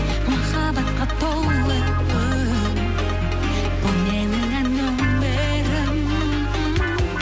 махаббатқа толы үн бұл менің ән өмірім